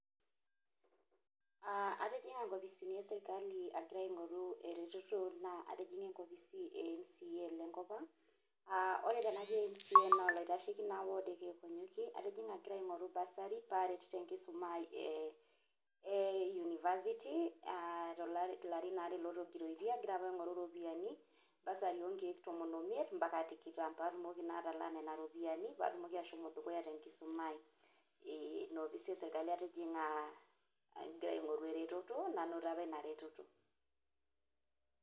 Atijing'a inkopisini esirkali agira aing'oru ereteto naa atijinga enkopisi e mca le ng'op ang'. Naa tenajo mca naa olaitasheki naa ward e kiek onyokie. Atjing'a agira aing'oru bursary paaret tenkiisuma aai e university, ilarin aare otigiroitie, agira apa aing'oru iropiani bursary o nkeek tomom oimiet mpaka tikitam paatumoki naa atalaa nena ropiani paatumoki ashomo dukuya te nkisoma ai. Ina opisi e sirkali atijing'a agira aing'oru eretoto, nainoto apa ina reteto.